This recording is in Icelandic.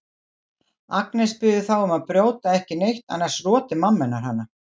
Agnes biður þá um að brjóta ekki neitt annars roti mamma hennar hana.